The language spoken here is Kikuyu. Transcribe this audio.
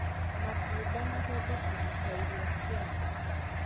Matunda mahũthĩkaga ta irio cia andũ